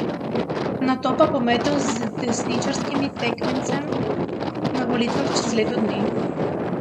Nato pa pometel z desničarskim tekmecem na volitvah čez leto dni.